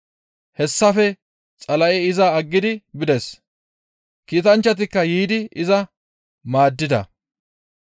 Hessafe Xala7ey iza aggidi bides; kiitanchchatikka yiidi iza maaddida.